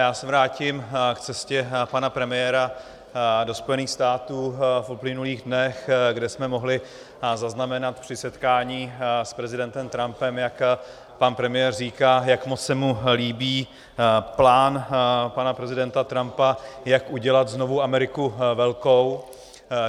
Já se vrátím k cestě pana premiéra do Spojených států v uplynulých dnech, kde jsme mohli zaznamenat při setkání s prezidentem Trumpem, jak pan premiér říká, jak moc se mu líbí plán pana prezidenta Trumpa, jak udělat znovu Ameriku velkou.